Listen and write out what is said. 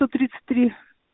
сто тридцать три